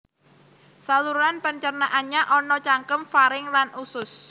Saluran pencernaannya ana cangkem faring lan usus